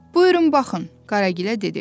Buyurun, baxın, Qaragilə dedi.